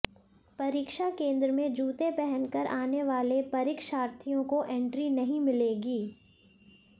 परीक्षा केंद्र में जूते पहन कर आने वाले परीक्षार्थियों को एंट्री नहीं मिलेगी